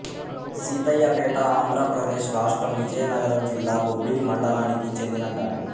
సీతయ్యపేటఆంధ్ర ప్రదేశ్ రాష్ట్రం విజయనగరం జిల్లా బొబ్బిలి మండలానికి చెందిన గ్రామం